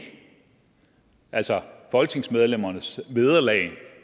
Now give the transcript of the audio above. altså folketingsmedlemmernes vederlag